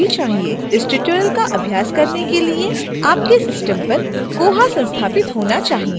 इस tutorial का अभ्यास करने के लिए आपके system पर koha संस्थापित होना चाहिए